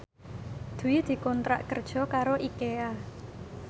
Dwi dikontrak kerja karo Ikea